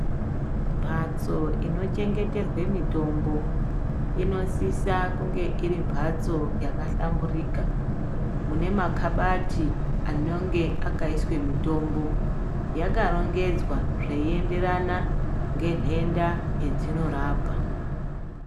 Mhatso inochengeterwe mutombo inosisa kunge iri mhatso yakahlamburuka ine makabati anenge akaiswe mutombo yakarongedzwa zveienderana nenhenda yedzinorapa.